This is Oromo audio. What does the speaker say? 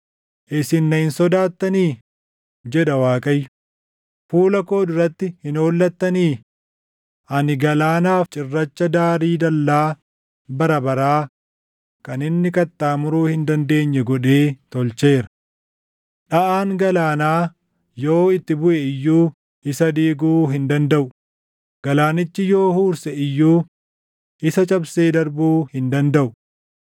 Isin na hin sodaattanii?” jedha Waaqayyo. “Fuula koo duratti hin hollattanii? Ani galaanaaf cirracha daarii dallaa bara baraa kan inni qaxxaamuruu hin dandeenye godhee tolcheera. Dhaʼaan galaanaa yoo itti buʼe iyyuu isa diiguu hin dandaʼu; galaanichi yoo huurse iyyuu, isa cabsee darbuu hin dandaʼu.